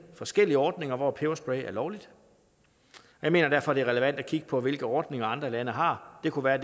forskellige ordninger hvor peberspray er lovligt jeg mener derfor det er relevant at kigge på hvilke ordninger andre lande har det kunne være